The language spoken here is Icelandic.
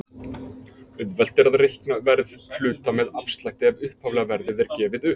Auðvelt er að reikna verð hluta með afslætti ef upphaflega verðið er gefið upp.